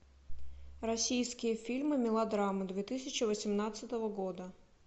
российские фильмы мелодрамы две тысячи восемнадцатого года